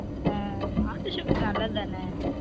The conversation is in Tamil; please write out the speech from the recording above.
அன் நாட்டு sugar நல்லது தான